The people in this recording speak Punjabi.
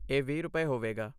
ਇਹ ਵੀਹ ਰੁਪਏ, ਹੋਵੇਗਾ